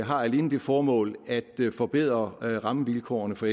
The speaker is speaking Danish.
har alene det formål at forbedre rammevilkårene for